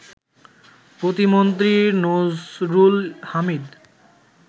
প্রতিমন্ত্রী নসরুল হামিদ